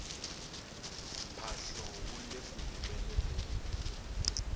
mphahlo wu leku humeleleni